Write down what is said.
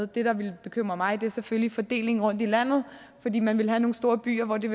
det der ville bekymre mig er selvfølgelig fordelingen rundt i landet fordi man vil have nogle store byer hvor det